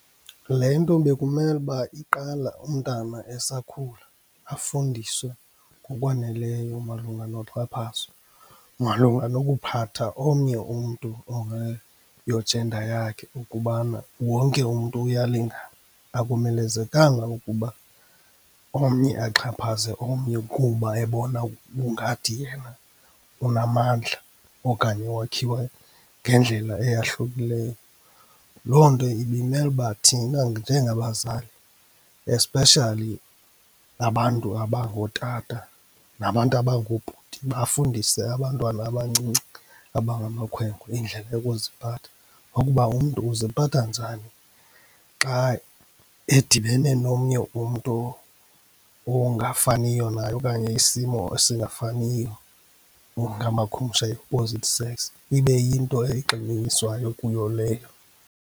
Le nto bekumele uba iqala umntwana esakhula, afundiswe ngokwaneleyo malunga noxhaphazo, malunga nokuphatha omnye umntu ongeyo-gender yakhe ukubana wonke umntu uyalingana. Akumelezekanga ukuba omnye axhaphaze omnye kuba ebona kungathi yena unamandla okanye wakhiwe ngendlela eyahlukileyo. Loo nto ibimele uba thina njengabazali, especially abantu abangootata nabantu abangoobhuti bafundise abantwana abancinci abangamakhwenkwe indlela yokuziphatha nokuba umntu uziphatha njani xa edibene nomnye umntu ongafaniyo naye okanye isimo esingafaniyo, ngamakhumsha yi-opposite sex. Ibe yinto egxininiswayo kuyo leyo.